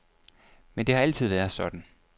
Men det har altid været sådan.